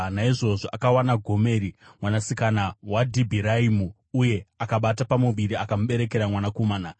Naizvozvo akawana Gomeri mwanasikana waDibhiraimu, uye akabata pamuviri akamuberekera mwanakomana.